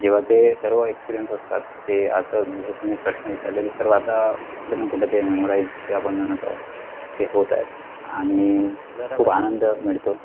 जेव्हा ते सर्व experience असतात ते आत जस तुम्ही प्रश्न विचारले तर आता जणू कुठे ते memorize चे आपण म्हणत आहोत ते होत आहेत आणि खूप आनंद मिळतो